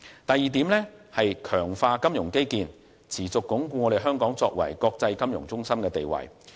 第二，強化金融基建，持續鞏固香港作為國際金融中心的地位。